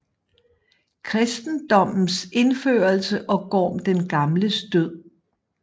Kristendommens indførelse og Gorm den Gamles død